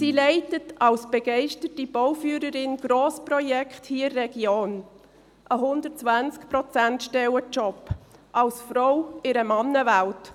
Sie leitet als begeisterte Bauführerin Grossprojekte hier in der Region – ein 120-Prozent-Job, als Frau in einer Männerwelt.